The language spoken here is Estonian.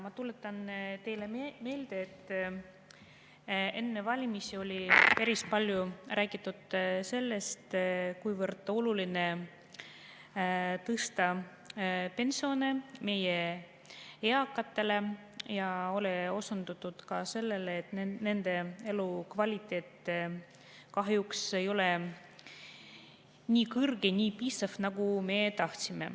Ma tuletan teile meelde, et enne valimisi päris palju räägiti sellest, kuivõrd oluline on tõsta meie eakate pensione, ja osundati ka sellele, et nende elukvaliteet kahjuks ei ole nii kõrge, nagu me tahaksime.